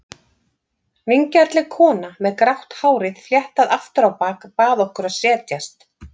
Vingjarnleg kona með grátt hárið fléttað aftur á bak bað okkur að setjast.